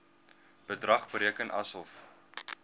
bedrag bereken asof